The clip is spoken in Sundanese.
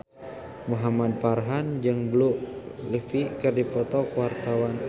Muhamad Farhan jeung Blue Ivy keur dipoto ku wartawan